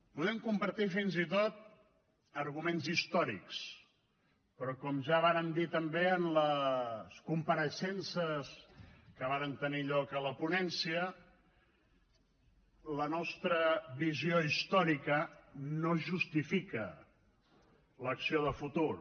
podem compartir fins i tot arguments històrics però com ja vàrem dir també en les compareixences que varen tenir lloc a la ponència la nostra visió històrica no justifica l’acció de futur